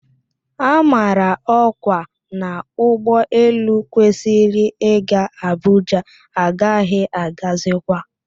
A mara ọkwa na ụgbọ elu kwesịrị ị ga Abuja agaghị agazikwa